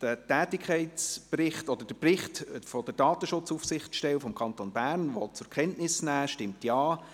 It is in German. Wer den Bericht der Datenschutzaufsichtsstelle des Kantons Bern zur Kenntnis nehmen will, stimmt Ja,